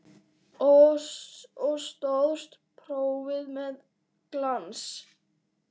Og stóðst prófið með glans.